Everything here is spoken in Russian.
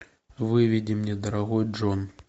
выведи мне дорогой джон